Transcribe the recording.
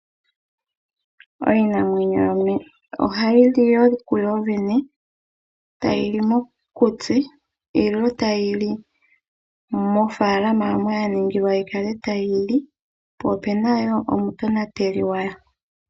Iinamwenyo yimwe ohayili kuyoyene tayili mokuti nenge tayili mofaalama moka ya ningilwa yikale tayili po opena woo omutonateli gwayo.